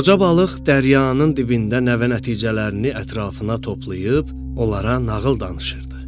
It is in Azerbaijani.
Qoca balıq daryanın dibindən nənə nəticələrini ətrafına toplayıb, onlara nağıl danışırdı.